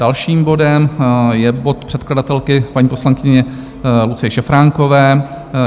Dalším bodem je bod předkladatelky paní poslankyně Lucie Šafránkové.